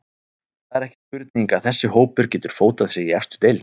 Það er ekki spurning að þessi hópur getur fótað sig í efstu deild.